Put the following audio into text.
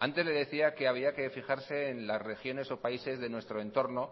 antes le decía que había que fijarse en las regiones o países de nuestro entorno